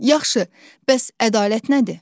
Yaxşı, bəs ədalət nədir?